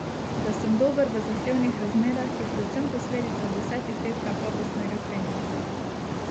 Da sem dober v zahtevnih razmerah, je predvsem posledica desetih let kakovostnega treninga.